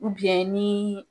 ni